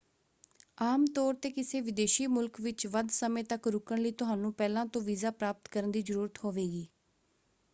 ਆਮ ਤੌਰ 'ਤੇ ਕਿਸੇ ਵਿਦੇਸ਼ੀ ਮੁਲਕ ਵਿੱਚ ਵੱਧ ਸਮੇਂ ਤੱਕ ਰੁਕਣ ਲਈ ਤੁਹਾਨੂੰ ਪਹਿਲਾਂ ਤੋਂ ਵੀਜ਼ਾ ਪ੍ਰਾਪਤ ਕਰਨ ਦੀ ਜ਼ਰੂਰਤ ਹੋਵੇਗੀ।